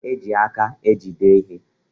E ji aka ejide ihe.